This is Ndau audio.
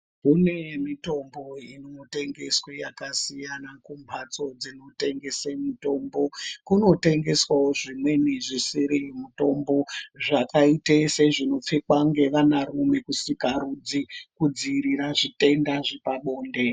Kune mitombo inotengeswa yakasiyana kumhatso dzinotengese mutombo, kunotengeswawo zvimweni zvisiri mutombo zvakaite sezvinopfekwa ngevana rume kusikarudzi kudziirira zvitenda zvepabonde.